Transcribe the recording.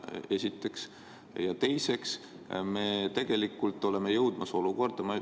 Seda esiteks.